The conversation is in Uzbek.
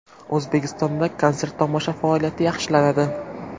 O‘zbekistonda konsert-tomosha faoliyati yaxshilanadi.